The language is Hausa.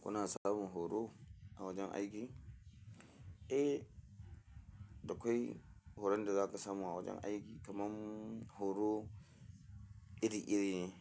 Kuna samun horo a wajen aiki? Eh, da kwai horon da za ka samu a wajen aiki kamar horo iri-iri ne